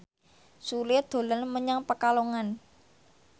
Sule dolan menyang Pekalongan